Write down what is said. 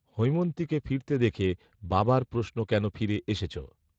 হৈমন্তীকে ফিরতে দেখে বাবার প্রশ্ন কেন ফিরে এসেছ